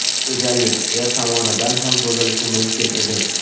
Go‘zallik er tomonidan ham buzilishi mumkin edi.